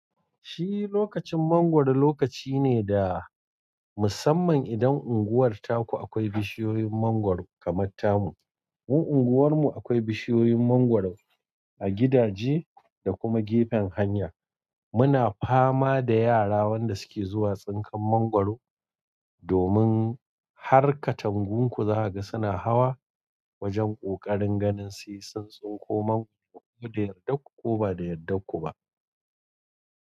Shi lokacin mangwaro lokaci ne da musamman idan unguwar taku akwai bishiyoyin mangwaro kamar tamu. Mu unguwarmu akwai bishiyoyin mangwaro a gidaje da kuma gefen hanya. Muna fama da yara wanda suke zuwa tsinkan mangwaro domin har katangunku za kaga suna hawa wajen ƙoƙarin ganin sai sun tsinko mangwaro ko da yardarku ko ba da yardarku ba.